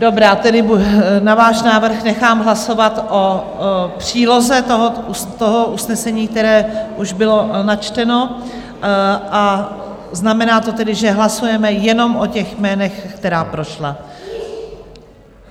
Dobrá, tedy na váš návrh nechám hlasovat o příloze toho usnesení, které už bylo načteno, a znamená to tedy, že hlasujeme jenom o těch jménech, která prošla.